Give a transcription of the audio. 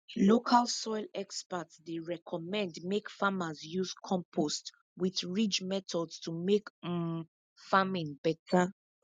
local soil experts dey recommend make farmers use compost with ridge method to make um farming better